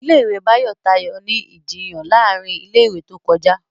Ilé ìwé Bayo tayọ ní Ìjiyàn láàrin ilé ìwé tó kọjá.